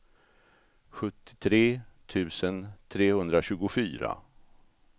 sjuttiotre tusen trehundratjugofyra